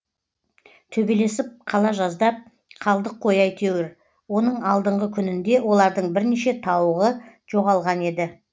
төбелесіп қала жаздап қалдық қой әйтеуір оның алдыңғы күнінде олардың бірнеше тауығы жоғалған еді